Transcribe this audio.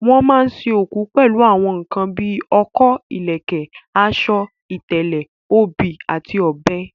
Wọ́n máa sin òkú pẹ̀lú àwọn nǹkan bí ọkọ́, ìlẹ̀kẹ̀, aṣọ, ìtẹ̀lẹ̀, obì àti ọ̀bẹ.